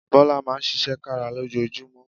Bọ́lá Máa ń ṣiṣẹ́ kára lójoojúmọ́